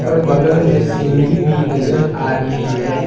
और बगल में सीढ़ी भी नजर आ रही है।